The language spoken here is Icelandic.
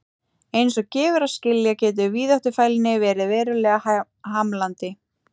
Eins og gefur að skilja getur víðáttufælni verið verulega hamlandi.